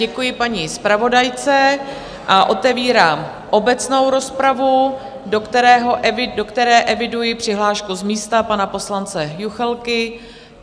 Děkuji paní zpravodajce a otevírám obecnou rozpravu, do které eviduji přihlášku z místa pana poslance Juchelky.